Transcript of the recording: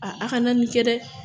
A aw kana nin kɛ dɛ